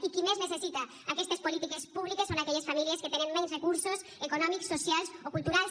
i qui més necessita aquestes polítiques públiques són aquelles famílies que tenen menys recursos econòmics socials o culturals